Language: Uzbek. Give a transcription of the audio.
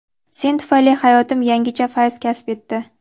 Sen tufayli hayotim yangicha fayz kasb etdi.